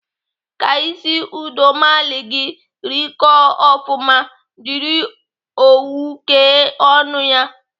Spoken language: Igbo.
Ka isi udomalị gị rịkọọ ofụma, jiri owu kee ọnụ ya.